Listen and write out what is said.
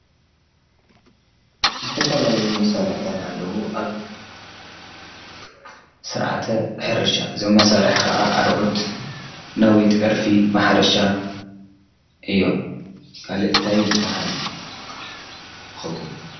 ዝተፋላለዩ መሳርሕታት ኣለዉ፡፡ ኣብ ስርዓተ ሕርሻ፣ ዞም መሳርሒ ኸዓ ኣርዑት፣ ነዊት፣ ዕርፊ ፣ማሕረሻ እዮም፡፡ ካልእ ታይ ይባሃል ይኸውን?